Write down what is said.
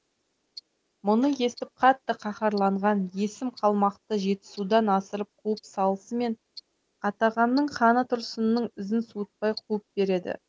мұны естіп қатты каһарланған есім қалмақты жетісудан асырып қуып салысымен қатағанның ханы тұрсынның ізін суытпай қуып береді